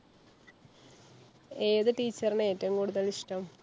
ഏത് teacher നെ ഏറ്റവും കൂടുതൽ ഇഷ്ടം?